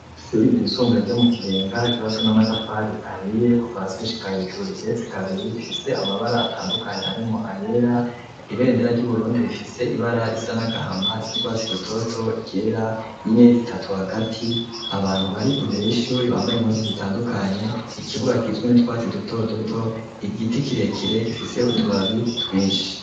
Ishure ryisumbuye ryo mu Kibenga ryubatswe n'amatafari ahiye kuva hasi gushika hejuru rigetse kabiri rifise amabara atandukanye harimwo ayera ibendera ry'Uburundi rifise ibara risa n'agahama, iry'urwatsi rutoto, iryera n'inyenyeri zitatu hagati abantu bari imbere y'ishure bambaye impuzu zitandukanye, ikibuga kigizwe n'utwatsi duto duto, igiti kirekire gifise utubabi twinshi.